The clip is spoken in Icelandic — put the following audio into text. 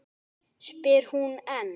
spyr hún enn.